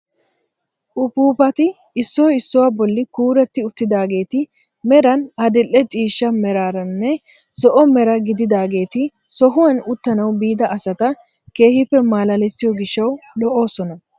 Upuupati issoy issuwaa bolli kuuretti uttidaageti meran adil'e ciishsha meraranne zo'o mera gididaageti sohuwaan uttanawu biida asata keehippe malalisiyoo gishshawu lo"oosona.